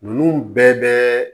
Ninnu bɛɛ bɛ